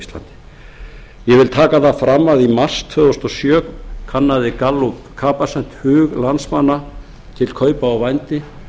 íslandi ég vil taka það fram að í mars tvö þúsund og sjö kannaði capacent gallup hug landsmanna til kaupa á vændi